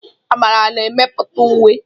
Amara na-emepụta uwe.